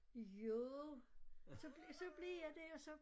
Jo så så blev jeg der så